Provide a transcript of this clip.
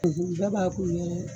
jɔn b'a ku ye.